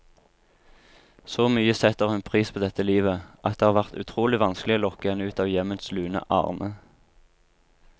Så mye setter hun pris på dette livet, at det har vært utrolig vanskelig å lokke henne ut av hjemmets lune arne.